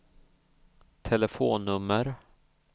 telefonnummer